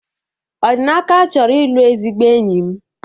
Odinaka chọrọ ịlụ ezigbo enyi m